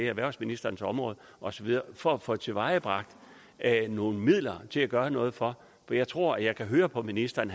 erhvervsministerens område for at få tilvejebragt nogle midler til at gøre noget for jeg tror og jeg kan høre på ministeren